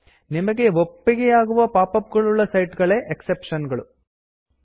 ನಿಮಗೆ ಒಪ್ಪಿಗೆಯಾಗುವ pop up pop ಅಪ್ಗಳುಳ್ಳ ಸೈಟ್ ಗಳೇ ಎಕ್ಸೆಪ್ಷನ್ಸ್ ಎಕ್ಸೆಪ್ಷನ್ಸ್